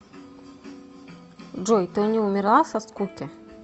джой ты не умерла со скуки